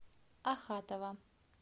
ахатова